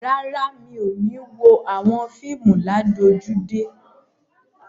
Rárá, mi ò ní wo àwọn fíìmù ládojúdé.